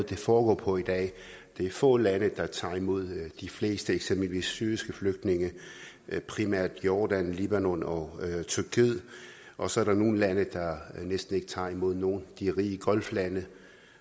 det foregår på i dag det er få lande der tager imod de fleste eksempelvis syriske flygtninge primært jordan libanon og tyrkiet og så er der nogle lande der næsten ikke tager imod nogen de rige golflande